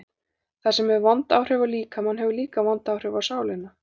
Það sem hefur vond áhrif á líkamann hefur líka vond áhrif á sálina.